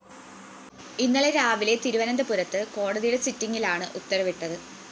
ഇന്നലെ രാവിലെ തിരുവനന്തപുരത്ത് കോടതിയുടെ സിറ്റിംഗിലാണ് ഉത്തരവിട്ടത്